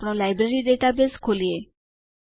અને આપણો library database ખોલીએ